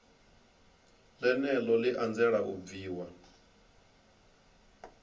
ḽeneḽo ḽi anzela u bviwa